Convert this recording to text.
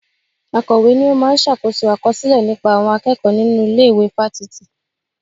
Akọ̀we ni ó máa ń ṣàkóso àkọsílẹ̀ nípa àwọn akẹ́kọ̀ọ́ nínú ilé ìwé fáfitì